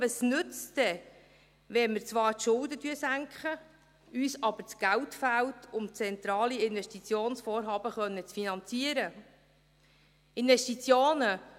Was nützt es denn, wenn wir zwar die Schulden senken, uns aber das Geld fehlt, um zentrale Investitionsvorhaben finanzieren zu können?